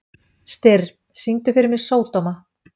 Styrr, syngdu fyrir mig „Sódóma“.